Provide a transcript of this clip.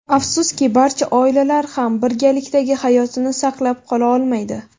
Afsuski, barcha oilalar ham birgalikdagi hayotini saqlab qola olmaydi.